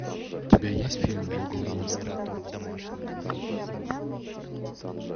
у тебя есть фильм логово монстра